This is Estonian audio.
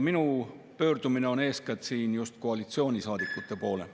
Minu pöördumine on siin eeskätt koalitsioonisaadikute poole.